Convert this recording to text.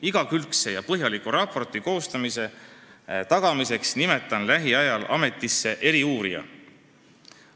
Igakülgse ja põhjaliku raporti koostamise tagamiseks nimetan lähiajal ametisse eriuurija.